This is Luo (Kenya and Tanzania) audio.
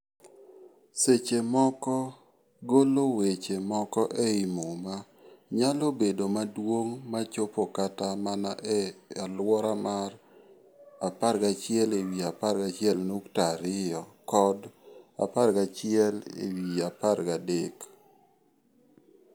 Seche moko, golo weche moko ei Muma nyalo bedo maduong' ma chop kata mana e alwora mar 11p11.2 kod 11p13.